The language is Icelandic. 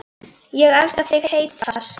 Ég elska þig heitar.